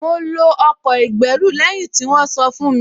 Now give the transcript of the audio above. Mo lo ọkọ̀ ìgbẹ́rù lẹ́yìn tí wọ́n sọ fún mi